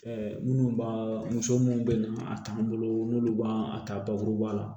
minnu b'a muso munnu be a t'an bolo n'olu b'a ta bakuruba la